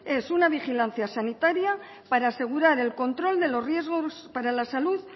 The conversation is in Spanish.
es una vigilancia sanitaria para asegurar el control de los riesgos para la salud